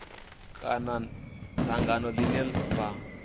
kana dzangano ḽine ḽa vha